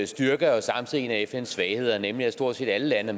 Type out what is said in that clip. styrker er jo samtidig en af fns svagheder nemlig at stort set alle lande